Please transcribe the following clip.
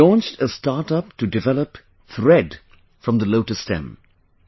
She launched a startup to develop thread from the Lotus stem